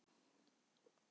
Ég verð að tala við þig.